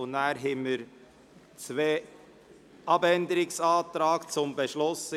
Danach liegen zwei Abänderungsanträge zum Beschluss vor.